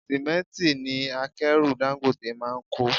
Símẹ́ntì ni akẹ́rù Dangote máa ń kó.